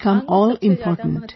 Marks have become all important